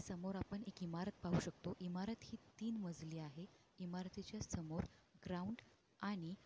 समोर आपण एक इमारत पाहू शकतो. इमारत ही तीन मजली आहे इमारतीच्या समोर ग्राऊंड आणि--